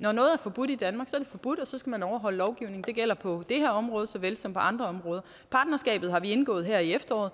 når noget er forbudt i danmark er det forbudt og så skal man overholde lovgivningen det gælder på det her område såvel som på andre områder partnerskabet har vi indgået her i efteråret